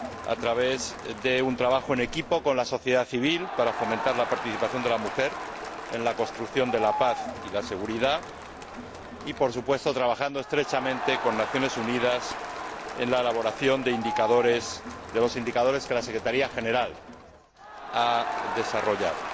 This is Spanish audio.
a través de un trabajo en equipo con la sociedad civil para fomentar la participación de la mujer en la construcción de la paz y la seguridad, y, por supuesto, trabajando estrechamente con las Naciones Unidas en la elaboración de los indicadores que la Secretaría General ha desarrollado.